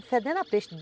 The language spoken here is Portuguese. É, fedendo a peixe.